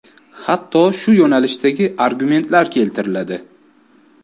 Hatto shu yo‘nalishdagi argumentlar keltiriladi.